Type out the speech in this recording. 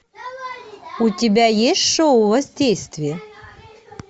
у тебя есть шоу воздействие